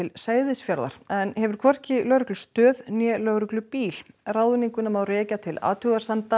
Seyðisfjarðar en hefur hvorki lögreglustöð né lögreglubíl ráðninguna má rekja til athugasemda